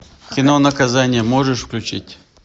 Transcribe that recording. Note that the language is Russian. кино наказание можешь включить